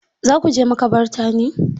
Za ku je maƙabarta ne?